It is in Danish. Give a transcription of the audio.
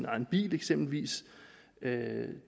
egen bil eksempelvis